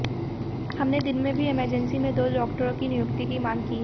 हमने दिन में भी इमरजेंसी में दो डॉक्टरों की नियुक्ति की मांग की है